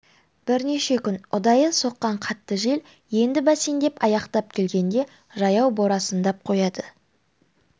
бірнеше күн ұдайы соққан қатты жел енді бәсеңдеп аяқтап келгенде жаяу борасындап қояды